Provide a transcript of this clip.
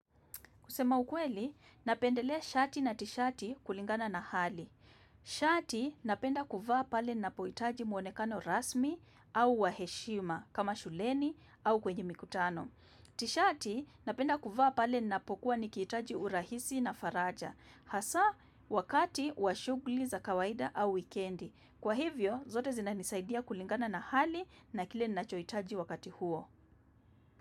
Kusema ukweli, napendelea shati na tishati kulingana na hali. Shati napenda kuvaa pale napohitaji muonekano rasmi au wa heshima kama shuleni au kwenye mikutano. Tishati napenda kuvaa pale napokuwa nikihitaji urahisi na faraja. Hasa wakati wa shuguli za kawaida au wikendi. Kwa hivyo, zote zinanisaidia kulingana na hali na kile nachoitaji wakati huo.